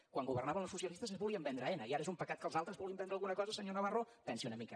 quan governaven els socialistes es volien vendre aena i ara és un pecat que els altres vulguin vendre alguna cosa senyor navarro pensi una mica